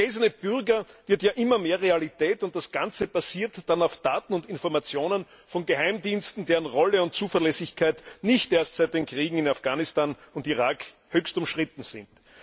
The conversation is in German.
Der gläserne Bürger wird immer mehr Realität, und das Ganze basiert dann auf Daten und Informationen von Geheimdiensten, deren Rolle und Zuverlässigkeit nicht erst seit den Kriegen in Afghanistan und im Irak höchst umstritten sind.